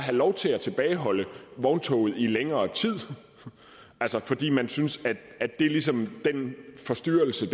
lov til at tilbageholde vogntoget i længere tid altså fordi man synes det ligesom er den forstyrrelse